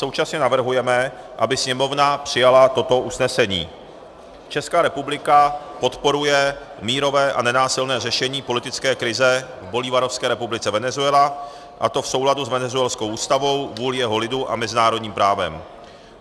Současně navrhujeme, aby Sněmovna přijala toto usnesení: Česká republika podporuje mírové a nenásilné řešení politické krize v Bolívarovské republice Venezuela, a to v souladu s venezuelskou ústavou, vůlí jejího lidu a mezinárodním právem.